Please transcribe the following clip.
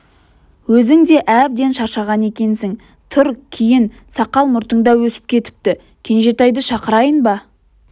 өзің де әбден шаршаған екенсің тұр киін сақал-мұртың да өсіп кетіпті кенжетайды шақырайын ба